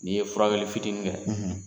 N'i ye fura wɛrɛli fitinin kɛ, .